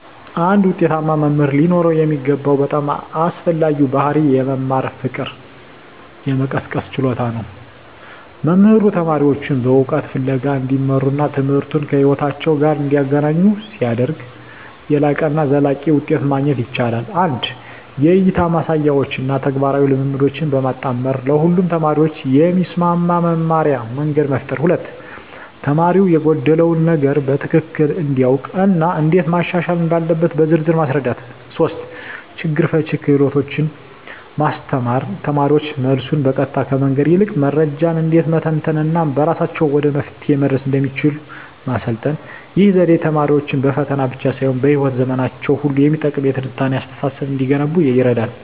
አንድ ውጤታማ መምህር ሊኖረው የሚገባው በጣም አስፈላጊው ባሕርይ የመማር ፍቅርን የመቀስቀስ ችሎታ ነው። መምህሩ ተማሪዎቹን በእውቀት ፍለጋ እንዲመሩና ትምህርቱን ከሕይወታቸው ጋር እንዲያገናኙ ሲያደርግ፣ የላቀና ዘላቂ ውጤት ማግኘት ይቻላል። 1) የእይታ ማሳያዎችን እና ተግባራዊ ልምምዶችን በማጣመር ለሁሉም ተማሪዎች የሚስማማ የመማርያ መንገድ መፍጠር። 2)ተማሪው የጎደለውን ነገር በትክክል እንዲያውቅ እና እንዴት ማሻሻል እንዳለበት በዝርዝር ማስረዳት። 3)ችግር ፈቺ ክህሎቶችን ማስተማር: ተማሪዎች መልሱን በቀጥታ ከመንገር ይልቅ መረጃን እንዴት መተንተን እና በራሳቸው ወደ መፍትሄው መድረስ እንደሚችሉ ማሰልጠን። ይህ ዘዴ ተማሪዎች በፈተና ብቻ ሳይሆን በሕይወት ዘመናቸው ሁሉ የሚጠቅም የትንታኔ አስተሳሰብ እንዲገነቡ ይረዳል።